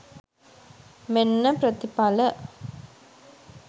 මෙන්න ප්‍රතිඵල